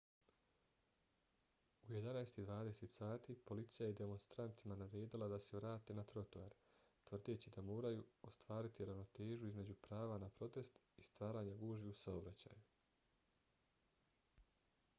u 11:20 sati policija je demonstrantima naredila da se vrate na trotoar tvrdeći da moraju ostvariti ravnotežu između prava na protest i stvaranja gužvi u saobraćaju